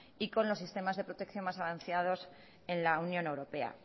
y con los sistemas de protección más avanzados en la unión europea